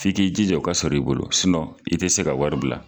F'i k'i jija o ka sɔr'i bolo, i ti se ka wari bila.